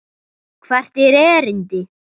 Hvert er erindi?